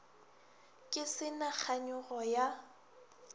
ke se na kganyogo ya